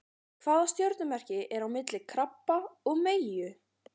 Hvaða stjörnumerki er á milli krabba og meyju?